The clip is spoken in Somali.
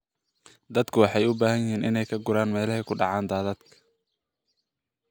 Dadku waxay u baahan yihiin inay ka guuraan meelaha ku dhaca daadadka.